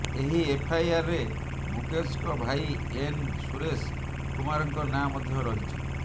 ଏହି ଏଫ୍ଆଇଆର୍ରେ ମୁକେଶଙ୍କ ଭାଇ ଏନ୍ ସୁରେଶ କୁମାରଙ୍କ ନାଁ ମଧ୍ୟ ରହିଛି